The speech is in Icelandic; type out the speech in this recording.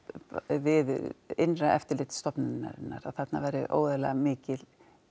við innra eftirlit stofnunnar að þarna væri óeðlilega mikil